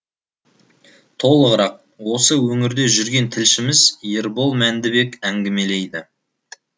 толығырақ осы өңірде жүрген тілшіміз ербол мәндібек әңгімелейді